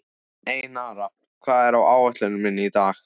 Einara, hvað er á áætluninni minni í dag?